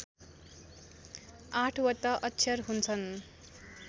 आठवटा अक्षर हुन्छन्